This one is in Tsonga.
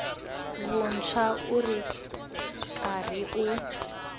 vuntshwa u ri karhi u